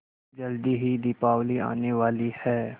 जल्दी ही दीपावली आने वाली है